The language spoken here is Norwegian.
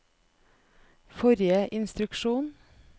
forrige instruksjon